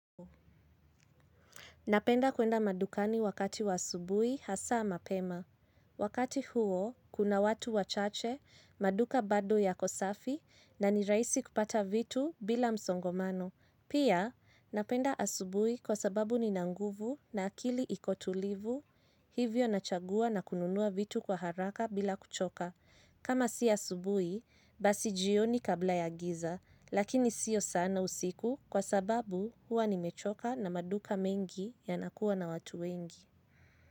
Napenda kuenda madukani wakati wa asubui hasa mapema. Wakati huo, kuna watu wachache, maduka bado ya kosafi, na ni raisi kupata vitu bila msongomano. Pia, napenda asubui kwa sababu ni nanguvu na akili ikotulivu, hivyo nachagua na kununua vitu kwa haraka bila kuchoka. Kama siya subui, basi jioni kabla ya giza, lakini siyo sana usiku kwa sababu huwa ni mechoka na maduka mengi ya nakuwa na watu wengi.